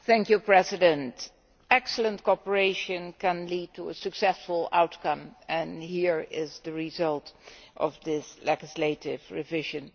Mr President, excellent cooperation can lead to a successful outcome and here, now, is the result of this legislative revision.